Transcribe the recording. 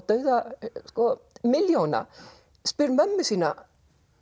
dauða sko milljóna spyr mömmu sína